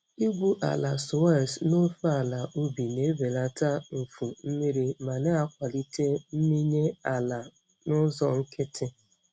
Igwu ala swales n'ofe ala ubi na-ebelata mfu mmiri ma na-akwalite mmịnye ala n'ụzọ nkịtị.